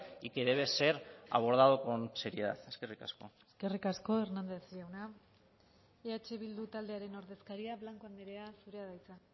y que debe ser abordado con seriedad eskerrik asko eskerrik asko hernández jauna eh bildu taldearen ordezkaria blanco andrea zurea da hitza